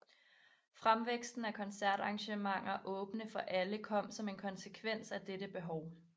Fremvæksten af koncertarrangementer åbne for alle kom som en konsekvens af dette behov